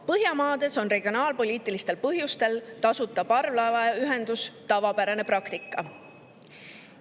Põhjamaades on regionaalpoliitilistel põhjustel tasuta parvlaevaühendus tavapärane praktika.